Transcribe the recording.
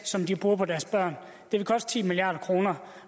som de bruger på deres børn